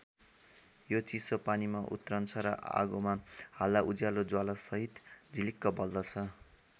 यो चिसो पानीमा उत्रन्छ र आगोमा हाल्दा उज्यालो ज्वाला सहित झिलिक्क बल्दछ।